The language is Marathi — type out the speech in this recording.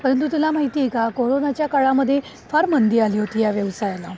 परंतु तुला माहित आहे का, कोरोना च्या काळामध्ये फार मंदी आली होती या व्यवसायाला.